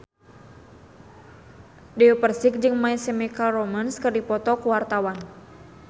Dewi Persik jeung My Chemical Romance keur dipoto ku wartawan